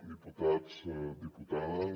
diputats diputades